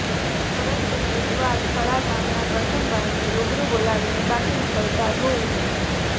પરંતુ બુધવાર થળા ગામના કરશનભાઈને રૂબરૂ બોલાવીને બાકી નીકળતા રૂ